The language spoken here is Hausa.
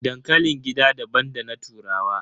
Dankalin gida daban da na turawa.